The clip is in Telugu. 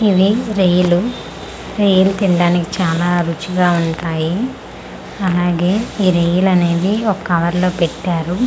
ఇవి రొయ్యలు రొయ్యలు తినడానికి చాలా రుచ్చిగా ఉంటాయి అలాగే ఈ రొయ్యలు అనేవి ఒక కవర్ లో పెట్టారు.